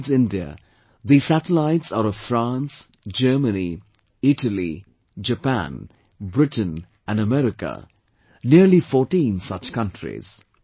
' And besides India, these satellites are of France, Germany, Italy, Japan, Britain and America, nearly 14 such countries